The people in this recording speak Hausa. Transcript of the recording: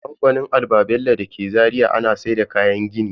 A kamfanin Alba-bello dake Zaria ana sayar da kayayyakin gini.